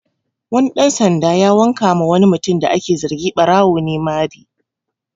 Wani ɗan sanda ya wanka ma wani mutum da ake zargi ɓarawo ne mari